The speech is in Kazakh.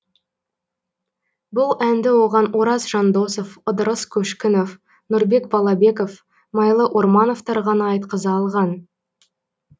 бұл әнді оған ораз жандосов ыдырыс көшкінов нұрбек балабеков майлы ормановтар ғана айтқыза алған